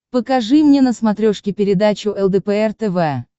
покажи мне на смотрешке передачу лдпр тв